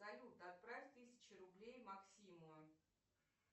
салют отправь тысячу рублей максиму